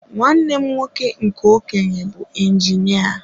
Nwanne m nwoke nke okenye bụ injinia.